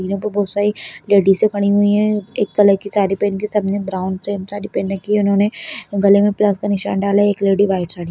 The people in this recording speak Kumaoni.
यहाँ पर बहोत सारी लेडीजे खड़ी हुई हैं एक कलर की साडी पहनके सबने ब्राउन सेम साडी पहन रखी है उन्होंने गले में प्लस का निशान डाला है एक लेडी वाइट साडी--